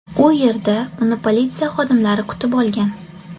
U yerda uni politsiya xodimlari kutib olgan.